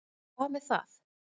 Og hvað með það?